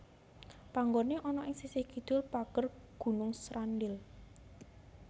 Panggoné ana ing sisih kidul pager Gunung Srandil